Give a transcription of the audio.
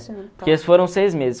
Porque foram seis meses.